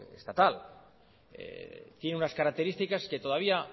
estatal tiene unas características que todavía